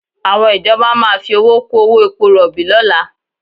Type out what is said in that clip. Àwọn ìjọba máa fi owó kú owó epo rọ̀bì lọ́la